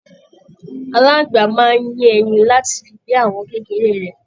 Aláàngbá máa n yẹ ẹyìn láti fi bí àwọn kékeré rẹ.